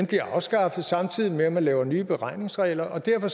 bliver afskaffet samtidig med at man laver nye beregningsregler derfor